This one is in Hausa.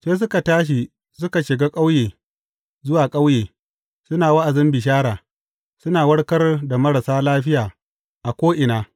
Sai suka tashi suka shiga ƙauye zuwa ƙauye suna wa’azin bishara, suna warkar da marasa lafiya a ko’ina.